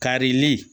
Karili